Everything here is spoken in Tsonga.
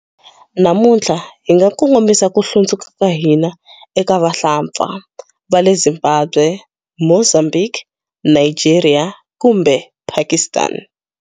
Namuntlha, hi nga kongomisa ku hlundzuka ka hina eka vahlampfa va le Zimbabwe, Mozambique, Nigeria kumbe Pakistan.